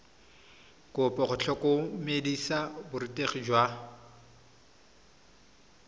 kopo go tlhotlhomisa borutegi jwa